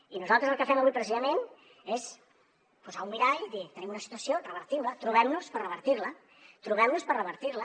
i nosaltres el que fem avui precisament és posar un mirall i dir tenim una situació revertim la trobem nos per revertir la trobem nos per revertir la